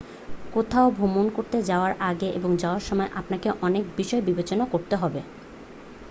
কোথাও ভ্রমণ করতে যাওয়ার আগে এবং যাওয়ার সময় আপনাকে অনেক বিষয় বিবেচনা করতে হবে